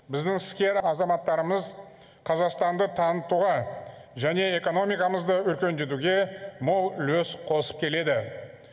біздің іскер азаматтарымыз қазақстанды танытуға және экономикамызды өркендетуге мол үлес қосып келеді